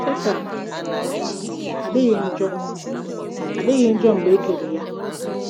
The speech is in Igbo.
Setan um adịghị njọ adịghị njọ mgbe e kere ya.